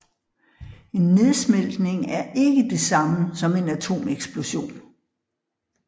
En nedsmeltning er ikke det samme som en atomeksplosion